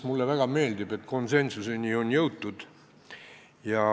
Mulle väga meeldib, et on konsensusele jõutud.